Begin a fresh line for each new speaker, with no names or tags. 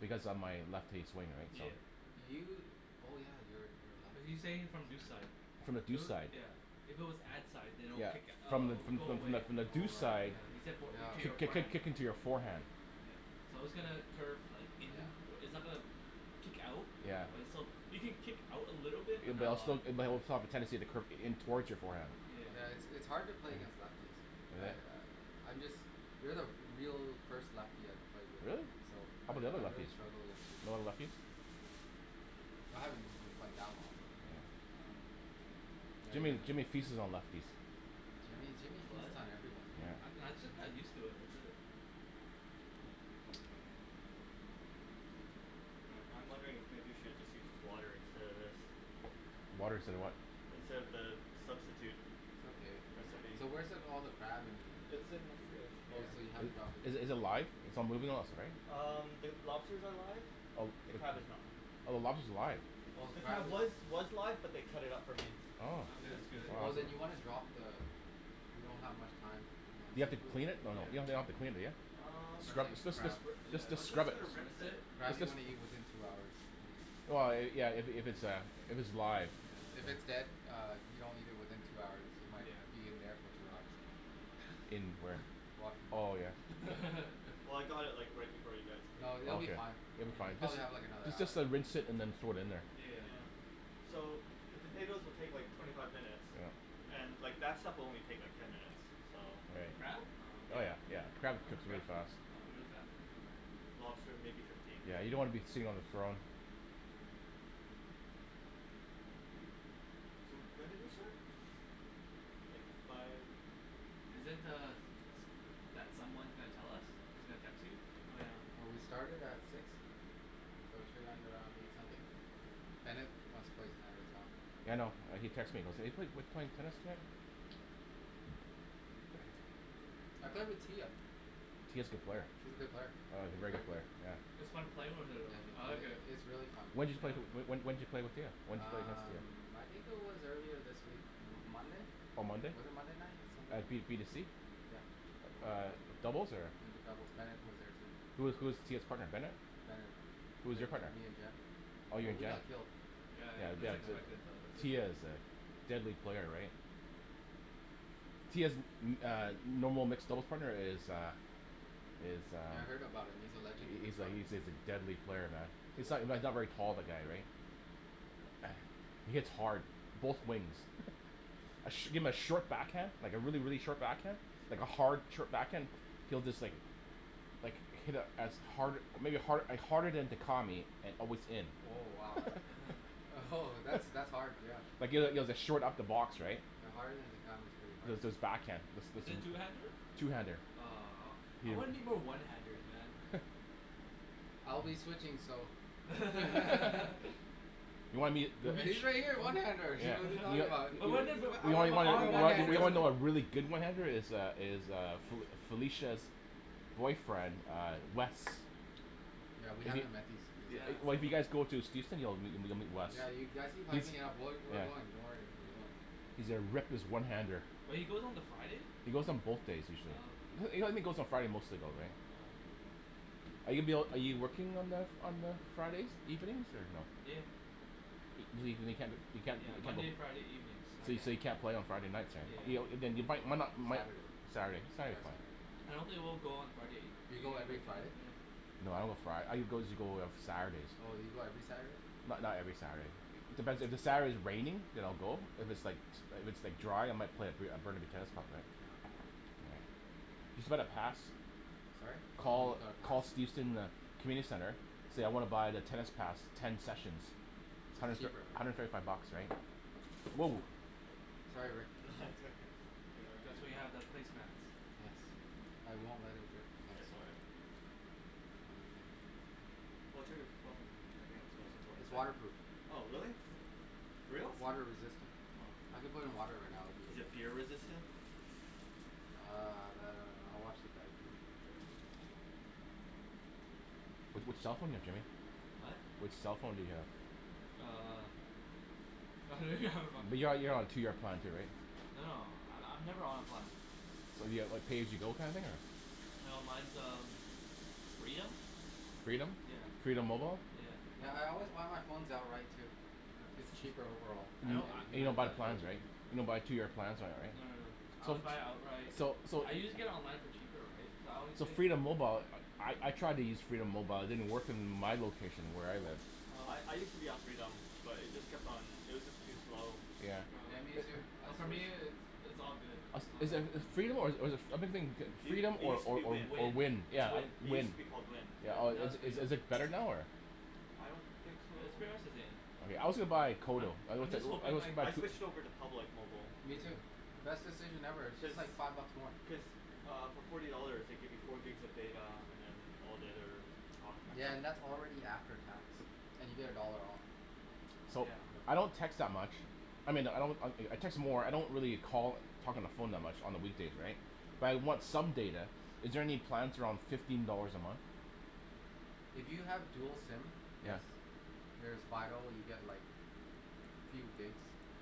Because of my lefty swing right so
Yeah
You oh yeah you're you're a
Are
lefty
you
He's
saying it
saying
from
from deuce
deuce
side,
side
From the deuce side
yeah, if it was ad side than it would
Yeah.
kick it up
From
and it
the from
will
the
go
from
away
the from the
Oh
deuce side
right yeah, yeah
kick- kick-
right
kicking to your forehand Yeah But all still it might reflect off the tendency of the curve towards your forearm
Yeah it's it's hard to play against lefties I I I'm just, you're the real first lefty I've played
Really?
against, so
How
I
'bout the other
I really
lefties?
struggle with
No other lefties?
I haven't been been playing that long but um yeah you're
Jimmy
the
Jimmy feasts on all lefties
Jimmy Jimmy
What?
feasts on everyone
I I just kinda used to it, that's it
Hmm I'm wondering if maybe you should just use water instead of this?
Water instead of what?
Instead of the substitute
It's okay.
recipe
So where's the all the crab and.
It's in the fridge
Oh
here
so you haven't dropped it in
Is is it live, its not moving lots right?
Um the lobsters are live,
Oh.
the crab is not.
Oh the
Oh.
lobster's live?
Oh the
The
crab
crab
is
was was live but they cut it up for me,
Oh
because its
That's good
easier
Oh
than
then you wanna drop the, you don't have much time
You have to clean it? No no, you don't have to clean it yeah,
Um
scrub
Especially
just just
crab.
I was
scrub
just
it.
gonna
Just
rinse it
Crab you
just.
wanna eat within two hours.
Yeah yeah if its a if it's live
If it's dead uh if you don't eat it within two hours you might be in there for two hours
In where? Oh yeah.
Well I got it like right before you guys came,
No they'll
but
Oh
um
be
yeah.
fine,
It will be
you
fine.
probably have like another
Just
hour
just rinse it and then throw it in there.
So the potatoes will take like twenty five minutes and like that stuff will only like take ten minutes, so
The crab?
Yeah Lobster maybe fifteen
Yeah you don't wanna be seeing on the throne
So when did they start? Like five
Isn't er that someone gonna tell us, is gonna text you?
Oh yeah
Oh we started at six so it should end around eight something. Bennett wants to play tonight as well.
Yeah I know he texted me, saying, "Hey wait are we playing tennis tonight?"
I played with Tia
Tia is a good player,
She's a good player,
oh
she's a
great
great
player,
player.
yeah.
It's
When
fun playing
Yeah
with her though, I like it.
it it's really fun
did you play
Yeah
when when did you play with her, when did you play against
Um
her?
I think it was earlier this week, M- Monday?
On Monday?
Was it Monday night, something
At
like
b b t
that
c?
Yeah
Uh doubles or?
In the doubles, Bennet was there too.
Who who's Tia's partner? Bennett?
Bennet
Who's your partner?
me and Jen.
Oh you
Oh
and
we
Jen.
got killed
Yeah
Yeah
yeah that's
Jen.
expected though right
Tia is a deadly player right? Tia's uh, normal mixed doubles partner is uh, is
Yeah I
uh,
heard about him, he's a legend in these
he's a
part
he's a deadly player man, he's not not very tall the guy, right? He hits hard, both wings. A shim a short back hand like a really really short backhand, like a hard short backhand he'll just like like hit a as hard a maybe hard harder than Dicami with within.
Oh wow Oh ho that's that's hard yeah
even at short upper box right?
Yeah harder than Dicami is pretty hard
Backhand. Is is two handed?
I'll be switching so
You'll be the
Usually I get a one handed here what're you talking about
But wasn't it but but
Oh one handed Yeah we haven't met these these
Yeah
Yeah you've actually been hyping it up we're we're going doing worry we're going
He's a reckless one-handed.
But he goes on the Friday?
He goes on both days
Oh okay.
usually. He only goes on Friday mostly though right?
Oh okay.
Are you ab- are you working on Mo- on Friday evenings?
Yeah
You mean, you can't
Yeah, Monday and Friday evenings I can't. Yeah. Yeah.
do?
I don't think we'll go on Friday,
Do you go
even if I
every
can.
Friday? Oh you go every Saturday?
Not not every Saturday.
Sorry? Oh oh you got a pass?
Community center. So I wanna buy the tennis pass, ten sessions.
It's
hundred
cheaper
thirty five bucks, right? Whoa Sorry Rick
here let me get you
That's what
a
you
towel
have, that's place mats
I won't let it drip
Oh it's all right Watch out of the phone, okay, its the most important
It's
thing.
water proof
Oh really?
Yeah
For reals?
Water resistant
Oh.
I could put it in water right now and I'd
Is it
be okay
beer resistant?
Uh that I don't know I watch the
Which cellphone do you have Jimmy?
Oh?
Which cellphone do you have?
Uh
You're you're on a two year plan too, right?
No no I I'm never on plan.
So you have like a pay as you go plan thing or
No mine's uh Freedom.
Freedom?
Yeah.
Freedom mobile?
Yeah
Yeah.
yeah I always buy my phone outright too, its cheaper overall
Hmm? You don't buy plans, right? You don't buy two year plans on it
No no no.
right?
I always buy it outright,
So. So so
I can get it online for cheaper, right, so
So Freedom mobile, I I tried to use Freedom mobile, it didn't work in my location where I live.
I I
Oh
use to be on Freedom, but it just kept on, it was just too slow
Yeah
Yeah me too, I
Oh for me
switched
it's it's all good
As is is
Yeah
Freedom or or is it or I been thinking
It
Freedom
it
or
use to
or
be
or
Wind,
Wind.
Wind?
It's Wind.
it use
Wind.
to be called Wind.
Yeah,
Or
now it's
Is
Freedom.
is it better now, or?
I don't think so.
No it's pretty much the same
Yeah, I also buy Kodo. I
I
also,
just
I
hoping
also
like
I switched over to Public mobile.
Me too, best decision ever it's
Cuz,
just like five bucks more
Cuz uh for forty dollars they give you four gigs of data and then all the other
Yeah and that's already after tax and you get a dollar off
So
Yeah
I don't text that much, I mean I don't I I text more I don't really call talk on the phone much on the weekdays right but I want some data, is there any plans around fifteen dollars a month?
If you have dual
Hmm
SIM
Yes
yes There's Fido you get like few gigs